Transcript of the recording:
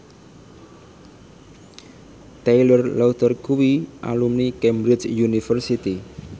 Taylor Lautner kuwi alumni Cambridge University